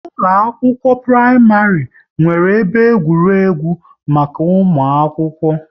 Ụkọ akwụkwọ praịmarị nwere ebe egwuregwu maka ụmụ akwụkwọ